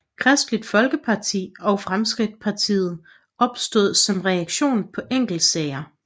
Kristeligt Folkeparti og Fremskridtspartiet opstod som reaktion på enkeltsager